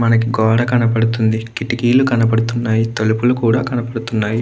మనకి గూడ కనపడుతునాయి. కితికులు కనపడుతునాయి. తలుపులు కూడా కనపడుతునాయి.